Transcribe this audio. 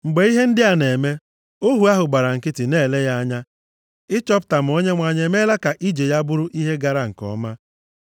Mgbe ihe ndị a na-eme, ohu ahụ gbara nkịtị na-ele ya anya ịchọpụta ma Onyenwe anyị emeela ka ije ya bụrụ ihe gara nke ọma.